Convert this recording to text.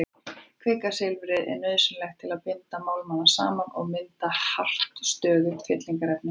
Kvikasilfrið er nauðsynlegt til að binda málmana saman og mynda hart og stöðugt fyllingarefni.